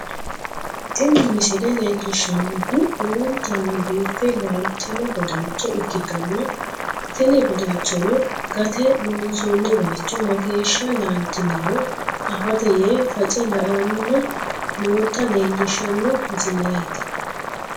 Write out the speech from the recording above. Tini misile leellishshannohu lowontanni biife laaltino badalcho ikkitanna, tini badalchono gate loonsoonni bayicho mageeshsha laaltinoro afate yee face la'anni noota leellishshanno misileeti.